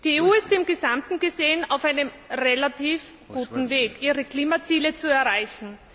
Die EU ist insgesamt gesehen auf einem relativ guten Weg, ihre Klimaziele zu erreichen.